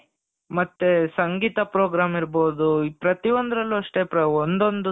ಮತ್ತೆ ಸಂಗೀತ program ಇರಬಹುದು ಪ್ರತಿಯೊಂದರಲ್ಲೂ ಅಷ್ಟೇ ಒಂದೊಂದು